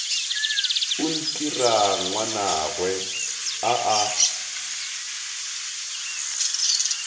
o ntira ngwanagwe a a